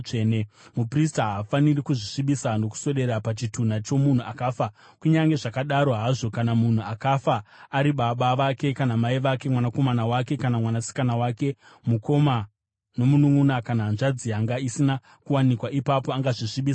“ ‘Muprista haafaniri kuzvisvibisa nokuswedera pachitunha chomunhu akafa; kunyange zvakadaro hazvo, kana munhu akafa ari baba vake kana mai vake, mwanakomana wake kana mwanasikana, mukoma nomununʼuna kana hanzvadzi yanga isina kuwanikwa, ipapo angazvisvibisa hake.